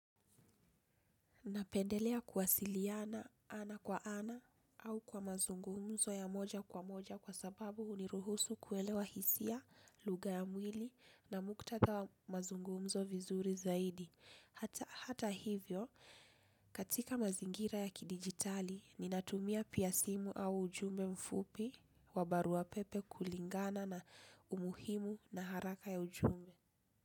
Napendelea kuwasiliana ana kwa ana au kwa mazungumzo ya moja kwa moja kwa sababu huniruhusu kuelewa hisia, lugha ya mwili na muktadha wa mazungumzo vizuri zaidi. Hata hivyo, katika mazingira ya kidigitali, ninatumia pia simu au ujumbe mfupi wabaruwa pepe kulingana na umuhimu na haraka ya ujumbe.